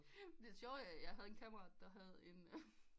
Det sjove er jeg havde en kammerat der havde en